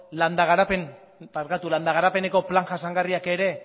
landa garapeneko plan jasangarriak ere